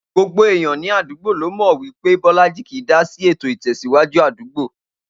Gbogbo èèyan ní àdúgbò ló mò̩ wí pé Bó̩lájí kì í dásí ètò ìtè̩síwájú àdúgbò